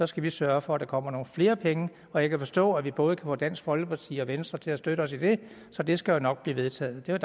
skal vi sørge for at der kommer nogle flere penge og jeg kan forstå at vi både få dansk folkeparti og venstre til at støtte os i det så det skal nok blive vedtaget det er